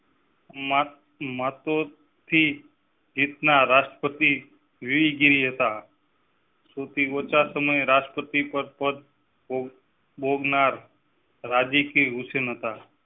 માતો થી જીત નાર રાષ્ટ્રપતિ વી ગિરી હતા શ્રુતિ ઓછા સમય રાષ્ટ્રપતિ પડ પદ~પદ પર બોઘનાર રાજી ઉષ્ણતા હતા